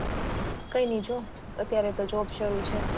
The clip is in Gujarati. કઈ નાઈ જો અત્યારે તો job શરુ છે.